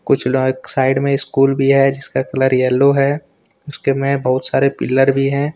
कुछ साइड में स्कूल भी है जिसका कलर येलो है उसके में बहुत सारे पिल्लर भी है।